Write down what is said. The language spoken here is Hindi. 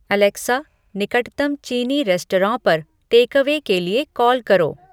अलेक्सा निकटतम चीनी रेस्टौरां पर टेकअवे के लिए कॉल करो